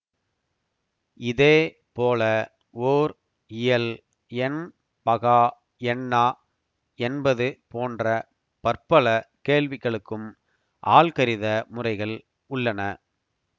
இதே போல ஓர் இயல் எண் பகா எண்ணா என்பது போன்ற பற்பல கேள்விகளுக்கும் ஆல்கரித முறைகள் உள்ளன